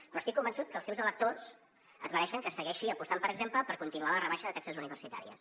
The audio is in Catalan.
però estic convençut que els seus electors es mereixen que es segueixi apostant per exemple per continuar la rebaixa de taxes universitàries